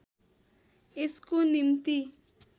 यसको निम्ति